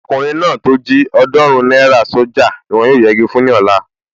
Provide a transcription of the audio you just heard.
Ọkùnrin náà tó jí ọ̀ọ́dúrún náírà sójà ni wọ́n yóò yegi fún ní ọ̀la